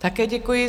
Také děkuji.